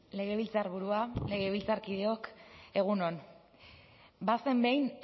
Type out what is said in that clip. legebiltzarburua legebiltzarkideok egun on bazen behin